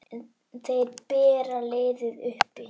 Þeir bera liðið uppi.